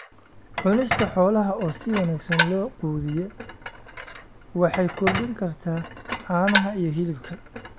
Cunista xoolaha oo si wanaagsan loo quudiyaa waxay kordhin kartaa caanaha iyo hilibka.